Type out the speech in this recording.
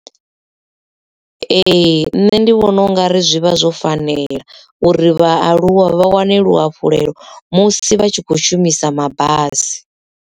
Ee nṋe ndi vhona ungari zwi vha zwo fanela uri vhaaluwa vha wane luhafhulelo musi vha tshi kho shumisa mabasi.